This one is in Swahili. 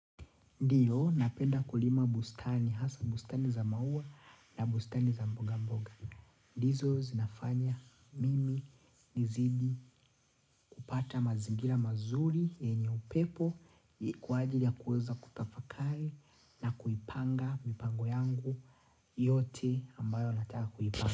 Ndiyo, napenda kulima bustani, hasa bustani za maua na bustani za mboga mboga. Ndizo zinafanya mimi nizidi kupata mazingira mazuri, enye upepo, kwa ajili ya kuweza kutafakari na kuipanga mipango yangu yote ambayo nataka kuipanga.